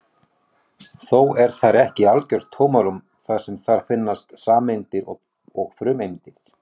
Þó er þar ekki algjört tómarúm þar sem þar fyrirfinnast sameindir og frumeindir.